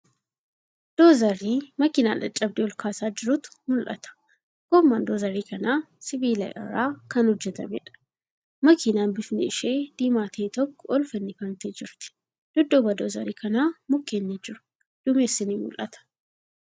Doozarii makiinaa caccabde olkaasaa jirutu mul'ata. Goomman doozarii kanaa sibiila irraa kan hojjatameedha. Makiinan bifni ishee diimaa ta'e tokko ol fannifamtee jirti. Dudduuba doozarii kanaa mukkeen ni jiru. Duumessi ni mul'ata.